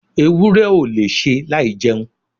ewúrẹ́ ò lè ṣe láì jẹun